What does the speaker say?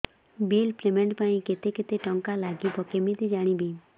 bill payment ପାଇଁ କେତେ କେତେ ଟଙ୍କା ଲାଗିବ କେମିତି ଜାଣିବି